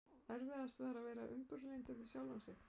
Erfiðast er að vera umburðarlyndur við sjálfan sig.